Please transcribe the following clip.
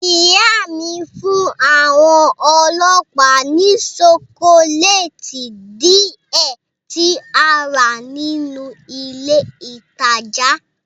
Ìyá mi fún àwọn ọlọ́pàá ní ṣokoléètì díẹ̀ tí a rà nínú ilé ìtajà.